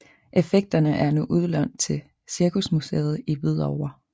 Effekterne er nu udlånt til Cirkusmuseet i Hvidovre